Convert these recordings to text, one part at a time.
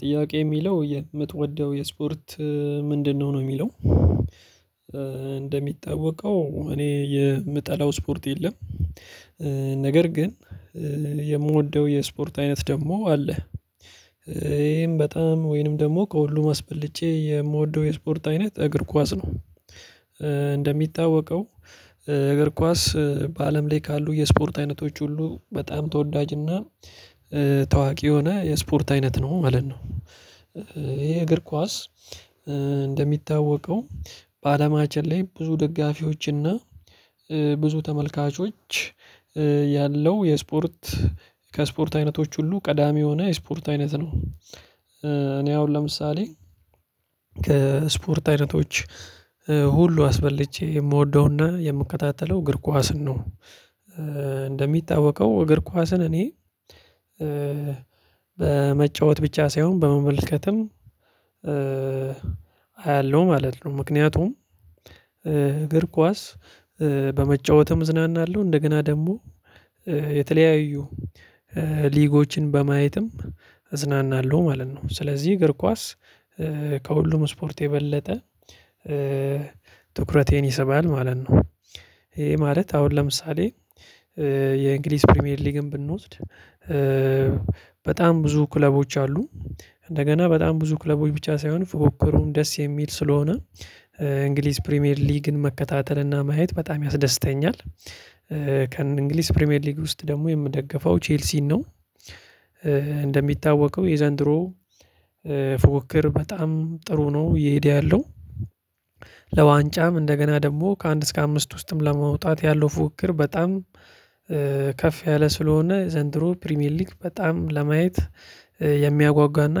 ጥያቄ የሚለው የምትወደው የስፖርት ምንድነው? ነው የሚለው እንደሚታወቀው እኔ የምጠላው ስፖርት የለም። ነገር ግን የምወደው የስፖርት አይነት ደግሞ አለ። ይሄም በጣም ወይንም ደግሞ ከሁሉም አስበልጬ የምወደው የስፖርት አይነት እግር ኳስ ነው። እንደሚታወቀው እግር ኳስ በአለም ላይ ካሉ የስፖርት አይነቶች ሁሉ በጣም ተወዳጅና ታዋቂ የሆነ የስፖርት አይነት ነው ማለት ነው። ይሄ እግር ኳስ እንደሚታወቀው በአለማችን ላይ ብዙ ደጋፊዎችና ብዙ ተመልካቾች ያለው የስፖርት ከስፖርት አይነቶች ሁሉ ቀዳሚ የሆነ የስፖርት አይነት ነው። እኔ አሁን ለምሳሌ ከስፖርት አይነቶች ሁሉ አስበልጬ የምወደውና የምከታተለው እግር ኳስን ነው። እንደሚታወቀው እግር ኳስን እኔ በመጫወት ብቻ ሳይሆን በመመልከትም አያለሁ ማለት ነው። ምክንያቱም እግር ኳስ በመጫወትም እዝናናለው እንደገና ደግሞ የተለያዩ ሊጎችን በማየትም እዝናናለሁ ማለት ነው። ስለዚህ እግር ኳስ ከሁሉም ስፖርት የበለጠ ትኩረቴን ይሰባል ማለት ነው። ይሄ ማለት አሁን ለምሳሌ የእንግሊዝ ፕሪሚየር ሊግን ብንወስድ በጣም ብዙ ክለቦች አሉ። እንደገና በጣም ብዙ ክለቦች ብቻ ሳይሆን ፉክክሩም ደስ የሚል ስለሆነ እንግሊዝ ፕሪሚየር ሊግን መከታተልና ማየት በጣም ያስደስተኛል። ከእንግሊዝ ፕሪሚየር ሊግ ውስጥ ደግሞ የምደግፈው ቼልሲን ነው። እንደሚታወቀው የዘንድሮ ፉክክር በጣም ጥሩ ነው እየሄደ ያለው። ለዋንጫም እንደገና ደግሞ ከአንድ እስከ አምስት ውስጥም ለመውጣት ያለው ፉክክር በጣም ከፍ ያለ ስለሆነ ዘንድሮ ፕሪሚየር ሊግ በጣም ለማየት የሚያጓጓና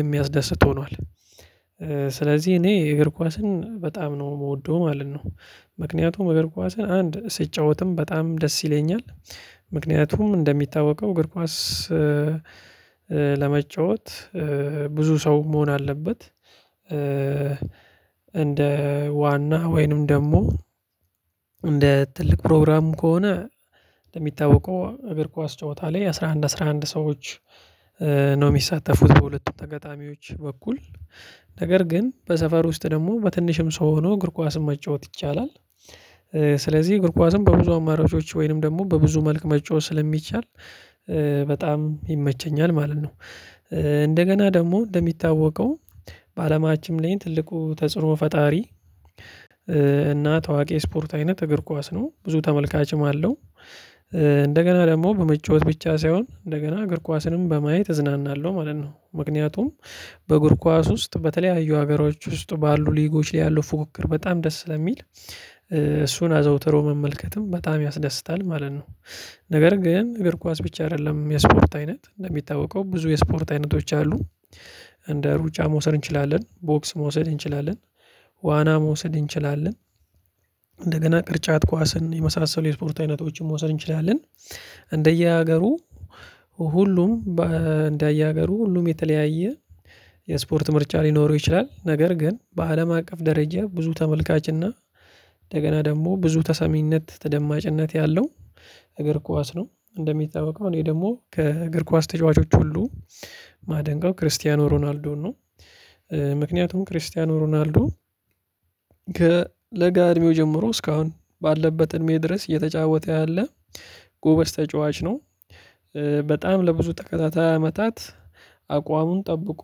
የሚያስደስት ሆኗል። ስለዚህ እኔ የእግር ኳስን በጣም ነው የምወደው ማለት ነው። ምክንያቱም እግር ኳስን አንድ ስጫወትም በጣም ደስ ይለኛል። ምክንያቱም እንደሚታወቀው እግር ኳስ ለመጫወት ብዙ ሰው መሆን አለበት። እንደ ዋና ወይንም ደግሞ እንደ ትልቅ ፕሮግራም ከሆነ እንደሚታወቀው እግር ኳስ ጨዋታ ላይ አስራ አንድ አስራ አንድ ሰዎች ነው የሚሳተፉት በሁለቱ ተጋጣሚዎች በኩል። ነገር ግን በሰፈር ውስጥ ደግሞ በትንሽም ሰው ሆኖ እግር ኳስም መጫወት ይቻላል። ስለዚህ እግር ኳስም በብዙ አማራጮች ወይንም ደግሞ በብዙ መልክ መጫወት ስለሚቻል በጣም ይመቸኛል ማለት ነው። እንደገና ደግሞ እንደሚታወቀው በአለማችም ላይ ትልቁ ተጽዕኖ ፈጣሪ እና ታዋቂ ስፖርት አይነት እግር ኳስ ነው ብዙ ተመልካችም አለው። እንደገና ደግሞ በመጫወት ብቻ ሳይሆን እንደገና እግር ኳስንም በማየት እዝናናለሁ ማለት ነው። ምክንያቱም በእግር ኳስ ውስጥ በተለያዩ ሀገሮች ውስጥ ባሉ ሊጎች ላይ ያሉ ፉክክር በጣም ደስ ስለሚል እሱን አዘውትሮ መመልከትም በጣም ያስደስታል ማለት ነው። ነገር ግን እግር ኳስ ብቻ አይደለም የስፖርት አይነት እንደሚታወቀው ብዙ የስፖርት አይነቶች አሉ። እንደ ሩጫ መውሰድ እንችላለን ቦክስ መውሰድ እንችላለን። ዋና መውሰድ እንችላለን። እንደገና ቅርጫት ኳስን የመሳሰሉ የስፖርት አይነቶችን መውሰድ እንችላለን። እንደየሀገሩ ሁሉም እንደየ ሀገሩ ሁሉም የተለያየ የስፖርት ምርጫ ሊኖረው ይችላል። ነገር ግን በአለም አቀፍ ደረጃ ብዙ ተመልካች እና እንደገና ደግሞ ብዙ ተሰሚነት ተደማጭነት ያለው እግር ኳስ ነው። እንደሚታወቀው እኔ ደግሞ ከእግር ኳስ ተጫዋቾች ሁሉ ማደንቀው ክርስቲያኖ ሮናልዶን ነው። ምክንያቱም ክርስቲያኖ ሮናልዶ ከለጋ እድሜው ጀምሮ እስካሁን ባለበት እድሜ ድረስ እየተጫወተ ያለ ጎበዝ ተጫዋች ነው። በጣም ለብዙ ተከታታይ አመታት አቋሙን ጠብቆ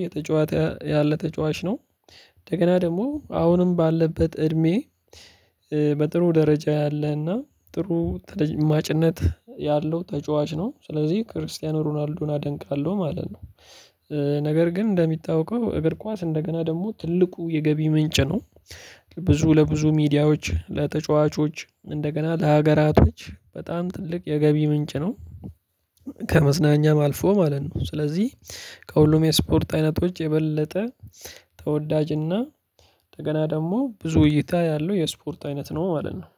እየተጫዋች ያለ ተጫዋች ነው። እንደገና ደግሞ አሁንም ባለበት እድሜ በጥሩ ደረጃ ያለህና ጥሩ ተደማጭነት ያለው ተጫዋች ነው። ስለዚህ ክርስቲያኖ ሮናልዶን አደንቃለሁ ማለት ነው። ነገር ግን እንደሚታወቀው እግር ኳስ እንደገና ደግሞ ትልቁ የገቢ ምንጭ ነው። ብዙ ለብዙ ሚዲያዎች ለተጫዋቾች እንደገና ለሀገራቶች በጣም ትልቅ የገቢ ምንጭ ነው። ከመዝናኛም አልፎ ማለት ነው ስለዚህ ከሁሉም የስፖርት አይነቶች የበለጠ ተወዳጅና እንደገና ደግሞ ብዙ እይታ ያለው የስፖርት አይነት ነው ማለት ነው